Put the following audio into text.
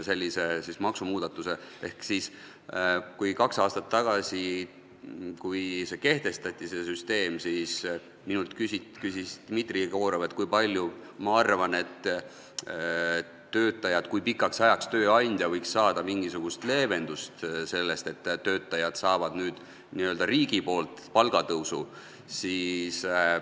Kui see süsteem kaks aastat tagasi kehtestati, siis küsis minult Dmitri Jegorov, mis ma arvan, kui pikaks ajaks võiks tööandja saada mingisugust leevendust sellest, et töötajad saavad nüüd n-ö riigi poolt palgatõusu.